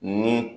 Ni